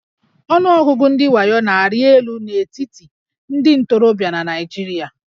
Ọnụọgụgụ ndị wayo na-arị elu n'etiti ndị ntorobịa na Naịjirịa